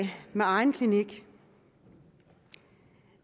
med egen klinik